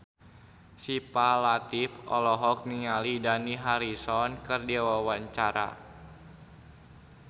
Syifa Latief olohok ningali Dani Harrison keur diwawancara